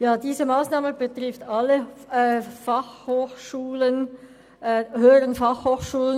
Diese Massnahme betrifft alle Hotelfachschulen.